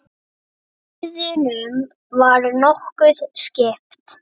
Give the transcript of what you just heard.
En gæðunum var nokkuð skipt.